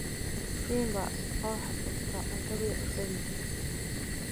Simba oo xusuusta cuntadii cuntadiisa.